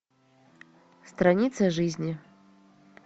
страница жизни